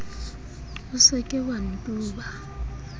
o se ke wa ntuba